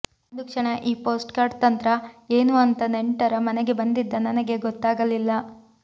ಒಂದು ಕ್ಷಣ ಈ ಪೋಸ್ಟ್ಕಾರ್ಡ್ ತಂತ್ರ ಏನು ಅಂತ ನೆಂಟರ ಮನೆಗೆ ಬಂದಿದ್ದ ನನಗೆ ಗೊತ್ತಾಗಲಿಲ್ಲ